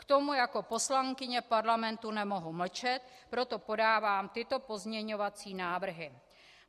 K tomu jako poslankyně Parlamentu nemohu mlčet, proto podávám tyto pozměňovací návrhy.